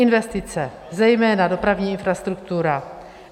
Investice, zejména dopravní infrastruktura.